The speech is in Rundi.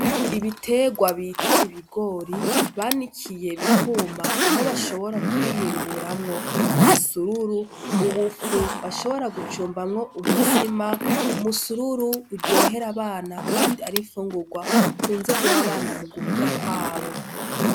Ibiterwa bita ibigori, banikiye bikuma aho bashobora kubihinguramwo umusururu, ubufu bashobora gucumbamwo umutsima. Umusururu uryohera abana kandi ari imfungurwa bakunze guha abana mu gukura kwabo.